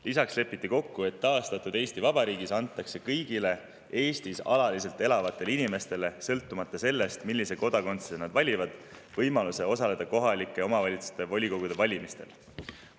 Lisaks lepiti kokku, et taastatud Eesti Vabariigis antakse kõigile Eestis alaliselt elavatele inimestele, sõltumata sellest, millise kodakondsuse nad valivad, võimalus osaleda kohaliku omavalitsuse volikogu valimistel.